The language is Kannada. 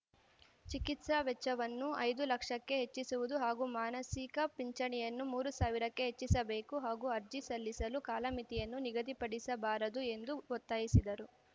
ಚಿಕಿತ್ಸಾ ವೆಚ್ಚವನ್ನು ಐದು ಲಕ್ಷಕ್ಕೆ ಹೆಚ್ಚಿಸುವುದು ಹಾಗೂ ಮಾಸಿಕ ಪಿಂಚಣಿಯನ್ನು ಮೂರು ಸಾವಿರಕ್ಕೆ ಹೆಚ್ಚಿಸಬೇಕು ಹಾಗೂ ಅರ್ಜಿ ಸಲ್ಲಿಸಲು ಕಾಲಮಿತಿಯನ್ನು ನಿಗದಿಪಡಿಸಬಾರದು ಎಂದು ಒತ್ತಾಯಿಸಿದರು